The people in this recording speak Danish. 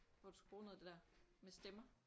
Hvor du skulle bruge noget af det der med stemmer